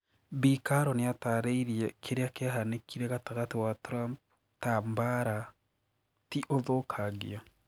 Bi Carrol niatariirie kiria kiahanikire gatagati wa Trump ta "mbara", ti "ũthũkangia."